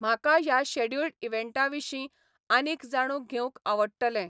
म्हाका ह्या शॅड्युल्ड इवँटाविशीं आनीक जाणून घेवंक आवडटलें